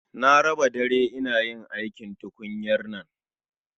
Na raba dare ina aikin yin tukunyar nan